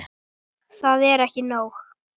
Og það er ekki nóg.